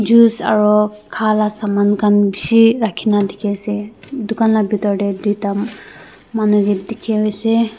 juice aru kha la saman khan bishi rakhina dikhi ase dukan la bitor te duita manuke dikhi ase.